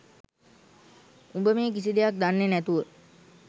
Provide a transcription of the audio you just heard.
උඹ මේ කිසි දෙයක් දන්නේ නැතුව